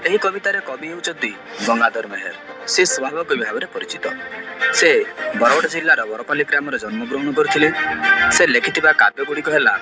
ଏହି କବିତାର କବି ହେଉଚ୍ଚନ୍ତି ଗଙ୍ଗାଧର ମେହେର। ସେ ସ୍ଵଭାବ କବି ଭାବରେ ପରିଚିତ। ସେ ବରଗଡ ଜିଲ୍ଲାର ବରପାଲି ଗ୍ରାମରେ ଜନ୍ମ ଗ୍ରହଣ କରିଥିଲେ। ସେ ଲେଖିଥିବା କାବ୍ୟ ଗୁଡ଼ିକ ହେଲା --